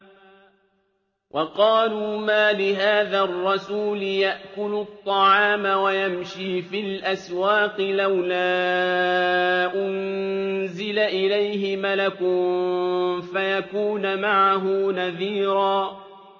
وَقَالُوا مَالِ هَٰذَا الرَّسُولِ يَأْكُلُ الطَّعَامَ وَيَمْشِي فِي الْأَسْوَاقِ ۙ لَوْلَا أُنزِلَ إِلَيْهِ مَلَكٌ فَيَكُونَ مَعَهُ نَذِيرًا